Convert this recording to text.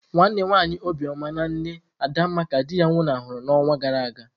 Nwanne nwanyi Obioma na nne Adanma ka di ya nwuna huru ya n'ọnwa gara aga.